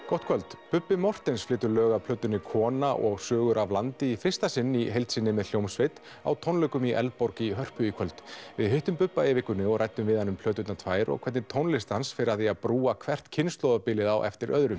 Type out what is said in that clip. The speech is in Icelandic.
gott kvöld Bubbi Morthens flytur lög af plötunni kona og sögur af landi í fyrsta sinn í heild sinni með hljómsveit á tónleikum í Eldborg í Hörpu í kvöld við hittum Bubba í vikunni og ræddum við hann um plöturnar tvær og hvernig tónlist hans fer að því að brúa hvert kynslóðabilið á eftir öðru